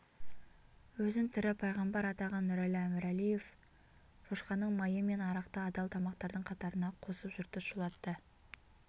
өзін тірі паймғамбар атаған нұрәлі әмірәлиев шошқаның майы мен арақты адал тамақтардың қатарына қосып жұртты шулатты